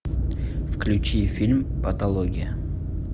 включи фильм патология